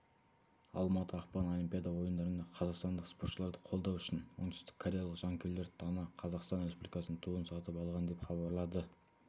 алматы ақпан олимпида ойындарында қазақстандық спортшыларды қолдау үшін оңтүстік кореялық жанкүйерлер дана қазақстан республикасының туын сатып алған деп хабарлады